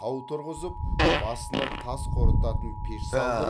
тау тұрғызып басына тас қорытатын пеш салдырып